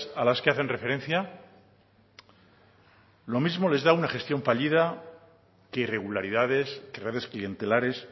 a las que hacen referencia lo mismo les da una gestión fallida que irregularidades que redes clientelares